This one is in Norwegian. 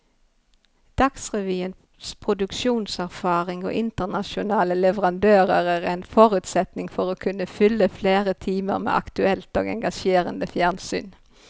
Dagsrevyens produksjonserfaring og internasjonale leverandører er en forutsetning for å kunne fylle flere timer med aktuelt og engasjerende fjernsyn.